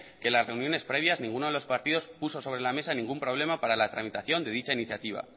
que en las reuniones previas ninguno de los partidos puso sobre la mesa ningún problema para la tramitación de dicha iniciativa